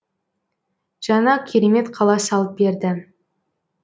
жаңа керемет қала салып берді